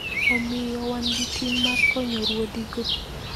Omiyo, wan gi ting ' mar konyo ruodhigo.